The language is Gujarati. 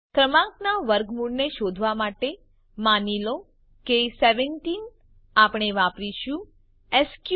ક્રમાંકનાં વર્ગમૂળને શોધવા માટે માની લો કે 17 આપણે વાપરીશું સ્ક્ર્ટ